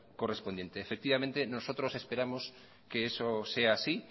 correspondiente nosotros esperamos que eso sea así